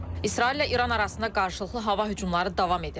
İsraillə İran arasında qarşılıqlı hava hücumları davam edir.